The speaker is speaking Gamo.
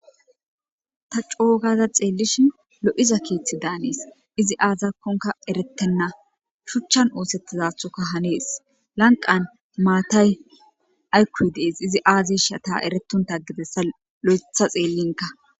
ta coogaza xeellishin lo7iza keeththi daanees izi aazakkonka erettenna shuchchan oosettizathoka hanees lanqan maatay aykkoy dees izi aazishata eretonta gidessa lo7etha xeellinka